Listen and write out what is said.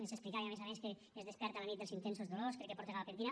ens explicava a més a més que es desperta a la nit dels intensos dolors crec que porta gabapentina